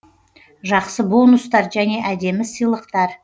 жақсы бонустар және әдемі сыйлықтар